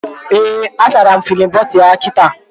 Ee, a sara m fidin bọtụlu ya kita